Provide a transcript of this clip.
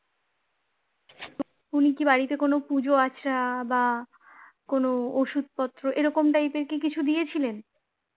উনি কি বাড়িতে কোনো পুজো-আচড়া বা কোনো ওষুধ-পত্র এরকম type এর কি কিছু দিয়েছিলেন?